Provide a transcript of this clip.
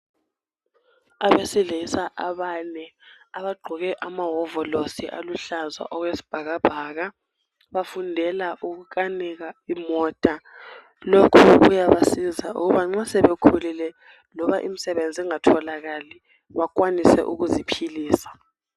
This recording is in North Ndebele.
Abesilisa abane, abagqoke amawovolosi aluhlaza okwesibhakabhaka, bafundela ukukanika imota. Lokhu kuyabasiza ukuthi nxa sebekhulile, loba imsebenzi ingatholakali bakwanise ukuziphilisa.